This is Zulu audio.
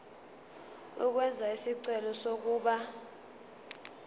ukwenza isicelo sokuba